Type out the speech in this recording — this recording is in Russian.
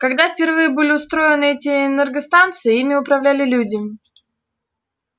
когда впервые были устроены эти энергостанции ими управляли люди